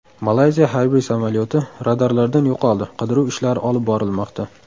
Malayziya harbiy samolyoti radarlardan yo‘qoldi, qidiruv ishlari olib borilmoqda.